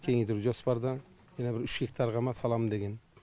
кеңейту жоспарда мына бір үш гектарға ма саламын деген